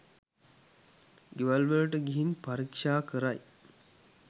ගෙවල්වලට ගිහින් පරීක්ෂා කරයි